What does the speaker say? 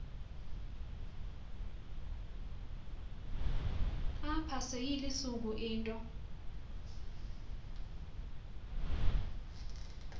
apha seyilisiko into